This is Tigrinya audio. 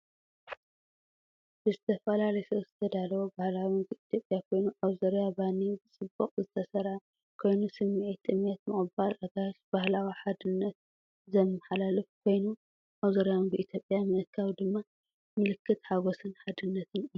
ብዝተፈላለዩ ሶስ ዝተዳለወ ባህላዊ ምግቢ ኢትዮጵያ ኮይኑ ኣብ ዙርያ ባኒ ብጽቡቕ ዝተሰርዐ ኮይኑ፡ ስምዒታት ጥምየት፡ ምቕባል ኣጋይሽ፡ ባህላዊ ሓድነት ዘመሓላልፍ ኮይኑ፡ ኣብ ዙርያ ምግቢ ኢትዮጵያ ምእካብ ድማ ምልክት ሓጎስን ሓድነትን እዩ።